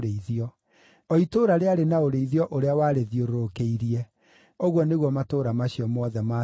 O itũũra rĩarĩ na ũrĩithio ũrĩa warĩthiũrũrũkĩirie; ũguo nĩguo matũũra macio mothe maatariĩ.